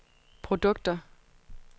produkter